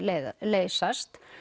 leysast